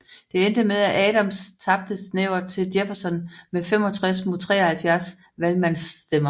Det endte med at Adams tabte snævert til Jefferson med 65 mod 73 valgmandsstemmer